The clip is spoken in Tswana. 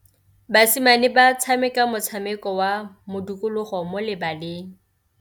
Basimane ba tshameka motshameko wa modikologô mo lebaleng.